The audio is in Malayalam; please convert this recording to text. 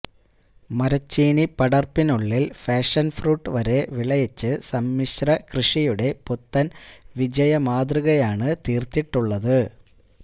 മരച്ചീനി പടര്പ്പിനുള്ളില് പാഷന്ഫ്രൂട്ട് വരെ വിളയിച്ച് സമ്മിശ്രകൃഷിയുടെ പുത്തന് വിജയമാതൃകയാണ് തീര്ത്തിട്ടുള്ളത്